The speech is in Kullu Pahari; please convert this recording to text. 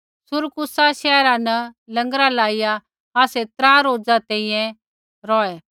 सुरकूसा शैहरा न लँगर लाइया आसै त्रा रोज़ा तैंईंयैं रौहै